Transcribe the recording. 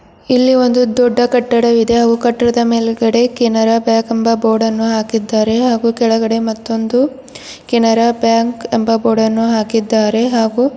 ಇಲ್ಲಿ ಒಂದು ದೊಡ್ಡ ಕಟ್ಟಡವಿದೆ ಹಾಗೂ ಕಟ್ಟಡ ಮೇಲೆಗಡೆ ಕೆನರಾ ಬ್ಯಾಂಕ್ ಎಂಬ ಬೋರ್ಡ್ ಅನ್ನು ಹಾಕಿದ್ದಾರೆ ಹಾಗೂ ಕೆಳಗಡೆ ಮತ್ತೊಂದು ಕೆನರಾ ಬ್ಯಾಂಕ್ ಎಂಬ ಬೋರ್ಡ್ ಅನ್ನು ಹಾಕಿದ್ದಾರೆ ಹಾಗೂ --